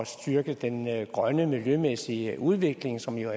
styrke den grønne miljømæssige udvikling som jo